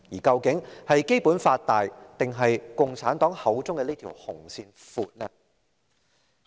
究竟是《基本法》大，還是共產黨口中的這條"紅線"闊呢？